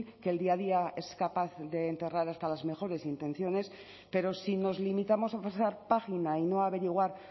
que el día a día es capaz de enterrar hasta las mejores intenciones pero si nos limitamos a pasar página y no averiguar